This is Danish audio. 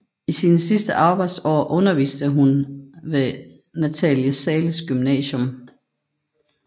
I sine sidste arbejdsår underviste hun ved Nathalie Zahles Gymnasium